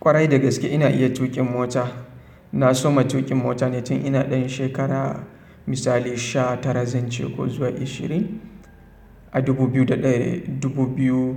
Kwarai dagaske ina iya tuƙin mota. Na soma tuƙin mota tun ina ɗan shekara misali sha tara zan ce ko zuwa ishirin a dubu biyu